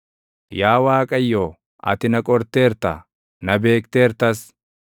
Yaa Waaqayyo, ati na qorteerta; na beekteertas.